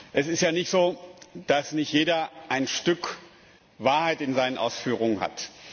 Es ist ja nicht so, dass nicht jeder ein Stück Wahrheit in seinen Ausführungen hat.